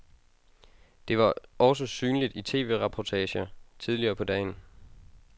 Det var også synligt i tv-reportager tidligere på dagen.